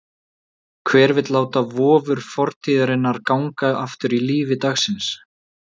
Hver vill láta vofur fortíðarinnar ganga aftur í lífi dagsins?